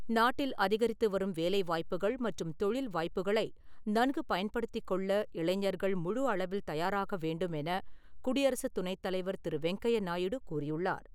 நாட்டில் அதிகரித்து வரும் வேலை வாய்ப்புகள் மற்றும் தொழில் வாய்ப்புக்களை நன்கு பயன்படுத்திக் கொள்ள இளைஞர்கள் முழு அளவில் தயாராக வேண்டும் என குடியரசு துணைத் தலைவர் திரு. வெங்கைய நாயுடு கூறி உள்ளார்.